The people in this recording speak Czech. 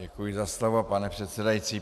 Děkuji za slovo, pane předsedající.